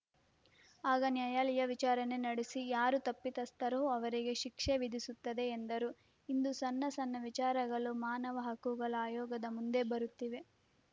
ಆಗ ನ್ಯಾಯಾಲಯ ವಿಚಾರಣೆ ನಡೆಸಿ ಯಾರು ತಪ್ಪಿತಸ್ಥರೋ ಅವರಿಗೆ ಶಿಕ್ಷೆ ವಿಧಿಸುತ್ತದೆ ಎಂದರು ಇಂದು ಸಣ್ಣ ಸಣ್ಣ ವಿಚಾರಗಳು ಮಾನವ ಹಕ್ಕುಗಳ ಆಯೋಗದ ಮುಂದೆ ಬರುತ್ತಿವೆ